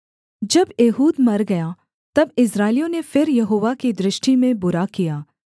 जब एहूद मर गया तब इस्राएलियों ने फिर यहोवा की दृष्टि में बुरा किया